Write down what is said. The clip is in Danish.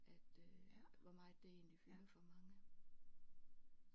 At øh hvor meget det egentlig fylder for mange